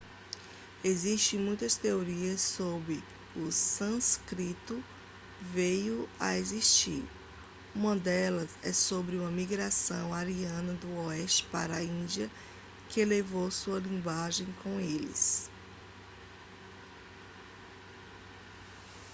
existem muitas teorias sobre como o sânscrito veio a existir uma delas é sobre uma migração ariana do oeste para a índia que levou sua linguagem com eles